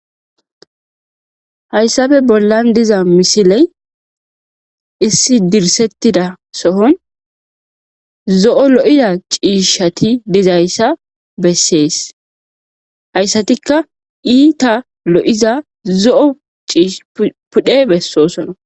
Hayssafe bollan diza misiley issi dirsettida sohon zo'o lo7iza ciishshati dizayssa bessees hayssatikka iita lo7iza zo7o ciish pudhe bessosona.